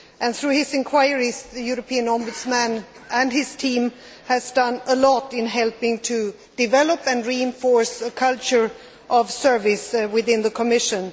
Through his inquiries, the European Ombudsman and his team have done a lot to help develop and reinforce a culture of service within the Commission.